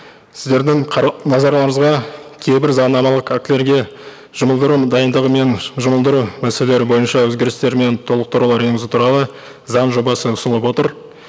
сіздердің назарларыңызға кейбір заңнамалық актілерге жұмылдыру дайындығы мен жұмылдыру мәселелері бойынша өзгерістер мен толықтырулар енгізу туралы заң жобасы ұсынылып отыр